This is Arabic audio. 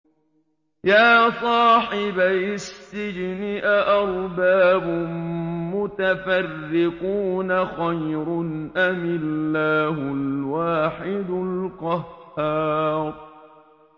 يَا صَاحِبَيِ السِّجْنِ أَأَرْبَابٌ مُّتَفَرِّقُونَ خَيْرٌ أَمِ اللَّهُ الْوَاحِدُ الْقَهَّارُ